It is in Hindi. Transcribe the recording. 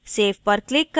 save पर click करें